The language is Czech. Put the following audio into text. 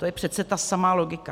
To je přece ta samá logika.